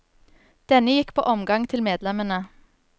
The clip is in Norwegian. Denne gikk på omgang til medlemmene.